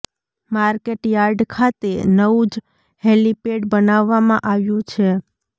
market yard ખાતે નવું જ હેલીપેડ બનાવવામાં આવ્યું છે